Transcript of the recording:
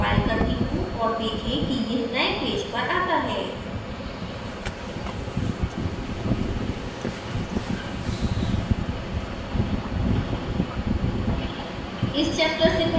इसे फिर से compile करती हूँ और देखें कि यह नए पेज पर आता है